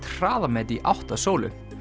hraðamet í átt að sólu